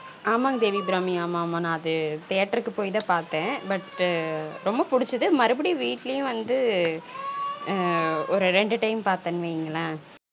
ஆமாங்க தேவி அபிராமி ஆமா ஆமா நான் அது theatre கு போய் தான் பார்த்தன் but ரொம்ப புடிச்சது மறுபடியும் வீட்லயும் வந்து ஒரு ரெண்டு time பார்த்தன் வைங்களன்